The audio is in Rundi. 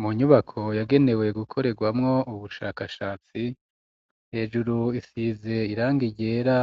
Mu nyubako yagenewe gukorerwamo ubushakashatsi hejuru isize irangi ryera